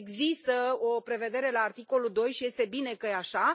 Deci există o prevedere la articolul 2 și este bine că e așa.